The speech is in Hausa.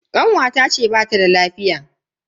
Kanwata ce bata da lafiya.